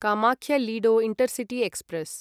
Kamakhya Ledo intercity express